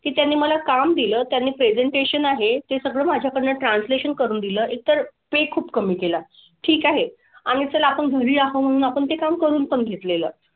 की त्यांनी मला काम दिलं, त्यांनी presentation आहे ते सगळं माझ्याकडनं translation करून दिलं. एक तर pay खूप कमी केला. ठीक आहे. आम्ही चला आपण घरी आहो म्हणून आपण ते काम करून पण घेतलेलं.